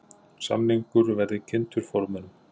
Samningur verði kynntur formönnum